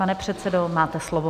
Pane předsedo, máte slovo.